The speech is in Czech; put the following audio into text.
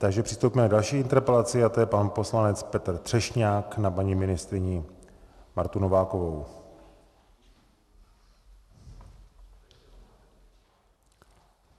Takže přistoupíme k další interpelaci a to je pan poslanec Petr Třešňák na paní ministryni Martu Novákovou.